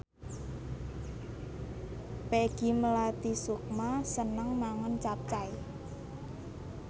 Peggy Melati Sukma seneng mangan capcay